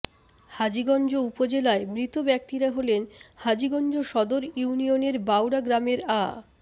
হাজীগঞ্জ উপজেলায় মৃত ব্যক্তিরা হলেন হাজীগঞ্জ সদর ইউনিয়নের বাউড়া গ্রামের আ